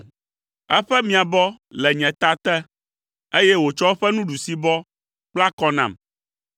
Eƒe miabɔ le nye ta te, eye wòtsɔ eƒe ɖusibɔ kpla kɔ nam.